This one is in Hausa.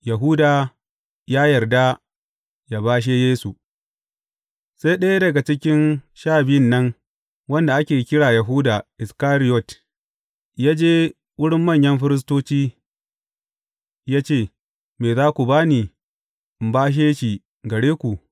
Yahuda ya yarda yă bashe Yesu Sai ɗaya daga cikin Sha Biyun nan, wanda ake kira Yahuda Iskariyot, ya je wurin manyan firistoci ya ce, Me za ku ba ni, in na bashe shi gare ku?